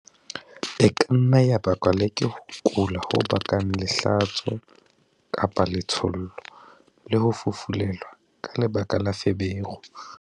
E ka nna ya bakwa le ke ho kula ho bakang lehlatso-letshollo, le ho fufulelwa ka lebaka la feberu.